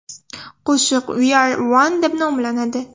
Qo‘shiq We Are One deb nomlanadi.